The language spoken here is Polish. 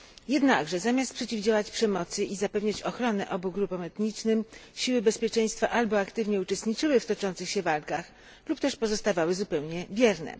Jednakże zamiast przeciwdziałać przemocy i zapewnić ochronę obu grupom etnicznym siły bezpieczeństwa albo aktywnie uczestniczyły w toczących się walkach, lub też pozostawały zupełnie bierne.